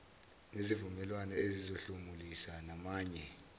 nezivumelwano ezizosihlomulisa namanye